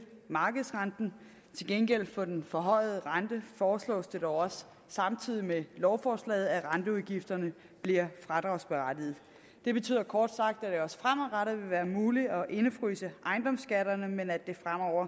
markedsrenten til gengæld for den forhøjede rente foreslås det dog også samtidig med lovforslaget at renteudgifterne bliver fradragsberettigede det betyder kort sagt at det også fremadrettet vil være muligt at indefryse ejendomsskatterne men at det